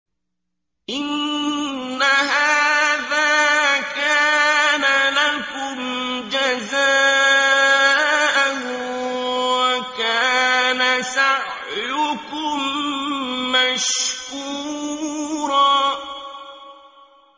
إِنَّ هَٰذَا كَانَ لَكُمْ جَزَاءً وَكَانَ سَعْيُكُم مَّشْكُورًا